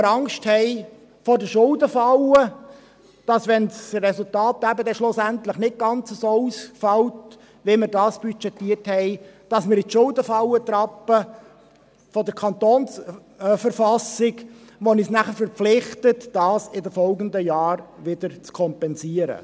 – Weil wir Angst haben vor der Schuldenfalle, das heisst, dass wir in die Schuldenfalle treten, wenn das Resultat schlussendlich nicht ganz so ausfällt, wie wir es budgetiert haben, wobei uns die KV dazu verpflichten würde, dies in den kommenden Jahren zu kompensieren.